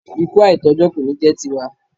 Ikú àìtójọ́ kò ní jẹ́ ti wa.